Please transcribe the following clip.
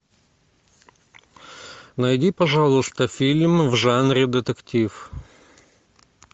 найди пожалуйста фильм в жанре детектив